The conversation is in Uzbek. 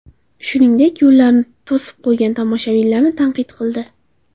Shuningdek, yo‘llarni to‘sib qo‘ygan namoyishchilarni tanqid qildi.